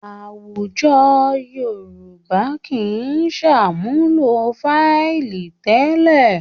Àwùjọ Yorùbá kì í ṣàmúlò fáìlì tẹ́lẹ̀